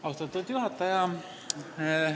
Austatud juhataja!